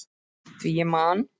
Því ég man!